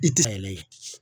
I te